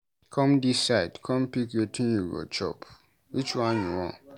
Come dis side come pick wetin you go chop, which one you want?